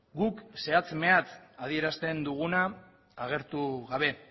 guk zehatz mehatz adierazten duguna agertu gabe